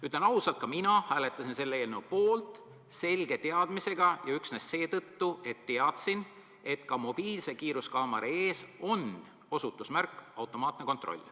Ütlen ausalt, ka mina hääletasin selle eelnõu poolt selge teadmisega , et ka mobiilse kiiruskaamera ees on osutusmärk "Automaatne kontroll".